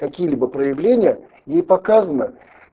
какие-либо проявления и показано